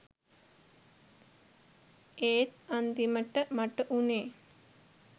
ඒත් අන්තිමට මට වුණේ